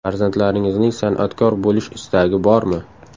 Farzandlaringizning sanatkor bo‘lish istagi bormi?